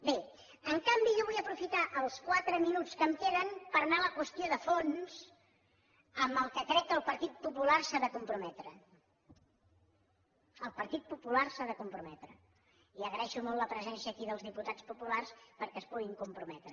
bé en canvi jo vull aprofitar els quatre minuts que em queden per anar a la qüestió de fons en què crec que el partit popular s’ha de comprometre el partit popular s’hi ha de comprometre i agraeixo molt la presència aquí dels diputats populars perquè s’hi puguin comprometre